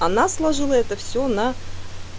она сложила это всё на